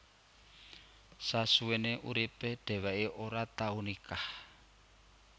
Sasuwene uripe dheweke ora tau nikah